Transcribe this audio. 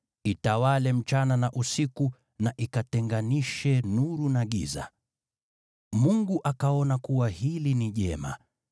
itawale usiku na mchana, na ikatenganishe nuru na giza. Mungu akaona kuwa hili ni jema.